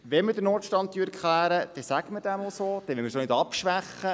Wenn wir den Notstand erklären, dann benennen wir diesen auch so, ohne Abschwächung.